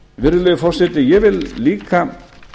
virðulegi forseti ég vil líka